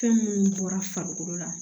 Fɛn minnu bɔra farikolo la